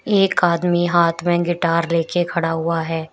एक आदमी हाथ में गिटार लेके खड़ा हुआ है।